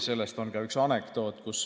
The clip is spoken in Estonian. Sellest on ka üks anekdoot.